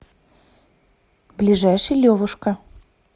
ближайший левушка